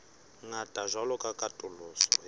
ngata jwalo ka katoloso ya